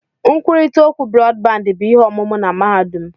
Nkwurịta okwu Brọdbandị bụ ihe ọmụmụ na mahadum.